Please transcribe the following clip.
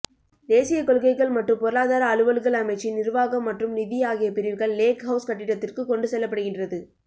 தேசிய கொள்கைகள் மற்றும் பொருளாதார அலுவல்கள் அமைச்சின் நிர்வாகம் மற்றும் நிதி ஆகிய பிரிவுகள் லேக்ஹவுஸ் கட்டிடத்திற்கு கொண்டுசெல்லப்படுகின்றது